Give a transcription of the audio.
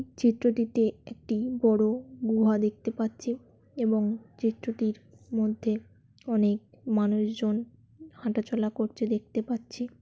চিত্রটিতে একটি বড় গুহা দেখতে পাচ্ছি এবং চিত্রটির মধ্যে অনেক মানুষজন হাঁটাচলা করছে দেখতে পাচ্ছি।